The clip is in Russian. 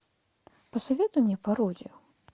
посоветуй мне пародию